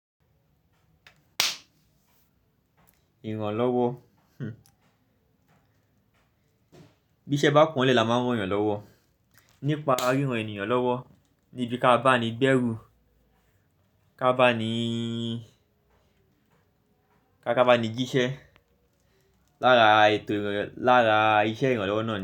Ìrànlọ́wọ́, hmmm. Bí iṣẹ́ bá pọ́ nlẹ làá máa n rányan ìrànlọ́wọ́. Nípa ríran ènìyàn lọ́wọ́ ni bí ka bá ni gbẹ́rù, ká bá ni, ká bá ni jíṣẹ́. Lára ètò, lára iṣẹ́ ìrànlọ́wọ́ náà ni.